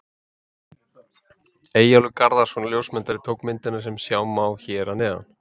Eyjólfur Garðarsson ljósmyndari tók myndina sem sjá má hér að neðan.